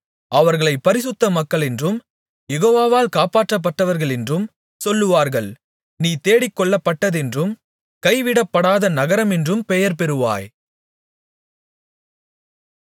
அவர்களைப் பரிசுத்த மக்களென்றும் யெகோவாவால் காப்பாற்றப்பட்டவர்களென்றும் சொல்லுவார்கள் நீ தேடிக்கொள்ளப்பட்டதென்றும் கைவிடப்படாத நகரமென்றும் பெயர்பெறுவாய்